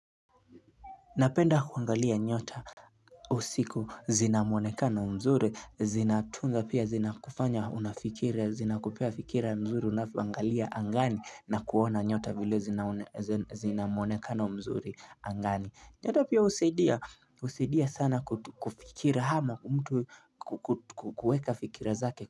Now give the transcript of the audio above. Napenda kuangalia nyota usiku. Zina mwonekano mzuri, zinatunga pia zinakufanya unafikiria, zinakupa fikira mzuri unapoangalia angani na kuona nyota vile zinamuonekana mzuri angani. Nyota pia husaidia sana kufikiria ama kwa mtu kukuweka fikira zake.